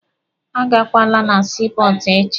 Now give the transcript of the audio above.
A gakwala na sii pọọtụ echi!